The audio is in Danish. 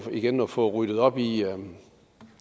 igen at fået ryddet op i